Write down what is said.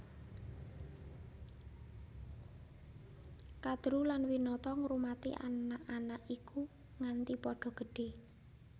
Kadru lan Winata ngrumati anak anak iku nganti padha gedhé